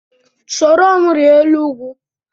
Soro m rịa elu ugwu!